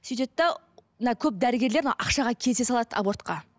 сөйтеді де мына көп дәрігерлер ақшаға келісе салады абортқа